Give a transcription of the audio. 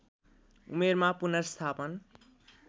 उमेरमा पुनर्स्थापन